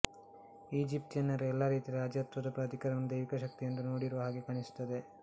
ಈಜಿಪ್ತಿಯನ್ನರು ಎಲ್ಲ ರೀತಿಯ ರಾಜತ್ವದ ಪ್ರಾಧಿಕಾರಗಳನ್ನು ದೈವಿಕ ಶಕ್ತಿ ಎಂದು ನೋಡಿರುವ ಹಾಗೆ ಕಾಣಿಸುತ್ತದೆ